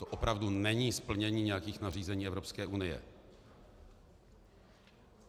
To opravdu není splnění nějakých nařízení Evropské unie.